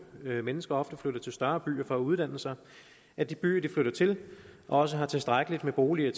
mennesker ofte flytter til større byer for at uddanne sig at de byer de flytter til også har tilstrækkeligt med boliger